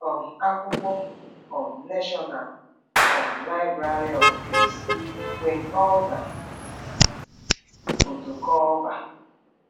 um akwụkwọ: um National um Library of Greece; Queen Olga: Foto Culver